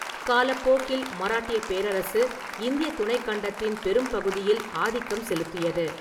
காலப்போக்கில், மராட்டியப் பேரரசு இந்தியத் துணைக்கண்டத்தின் பெரும்பகுதியில் ஆதிக்கம் செலுத்தியது.